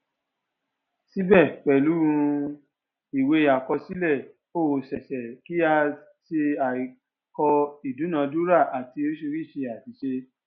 síbẹ pẹlú um ìwé àkọsílẹ ó ṣé ṣe kí a ṣe àìkọ ìdúnadúrà àti oríṣiríṣi àṣìṣe